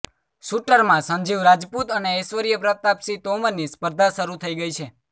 શૂટરમાં સંજીવ રાજપૂત અને ઐશ્વર્ય પ્રતાપ સિંહ તોમરની સ્પર્ધા શરૂ થઈ ગઈ છે